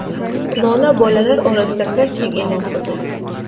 Lola bolalar orasida kasting e’lon qildi.